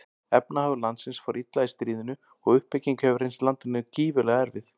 Efnahagur landsins fór illa í stríðinu og uppbyggingin hefur reynst landinu gífurlega erfið.